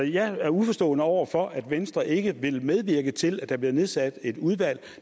jeg er uforstående over for at venstre ikke vil medvirke til at der bliver nedsat et udvalg